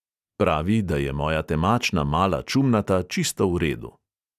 Pravi, da je moja temačna mala čumnata čisto v redu.